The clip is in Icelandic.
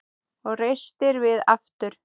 Og reistir við aftur.